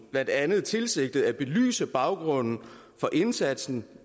blandt andet tilsigtede at belyse baggrunden for indsatsen